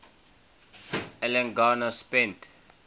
alan garner spent